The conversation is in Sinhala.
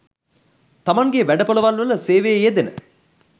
තමන්ගේ වැඩ‍පොළවල්වල සේවයේ යෙදෙන